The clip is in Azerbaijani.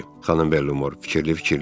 dedi xanım Velmor fikirli-fikirli.